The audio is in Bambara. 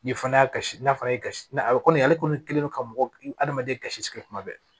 Ni fana y'a kasi n'a fɔra ye ka na a bɛ komi ale kɔni kɛlen don ka mɔgɔ adamaden kasirisuma bɛɛ